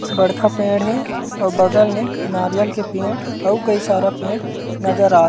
बड़खा पेड़ हे अऊ बगल में नारियल के पेड़ अऊ कई सारा पेड़ नजर आ--